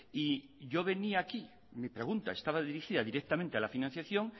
y yo venía aquí mi pregunta estaba dirigida directamente a la financiación